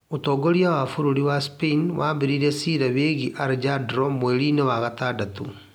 Ũtongoria wa bũrũri wa Spain wambĩrĩirie ciira wĩgiĩ Alejandro mweri-inĩ wetandatũ